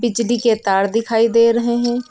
बिजली के तार दिखाई दे रहे हैं।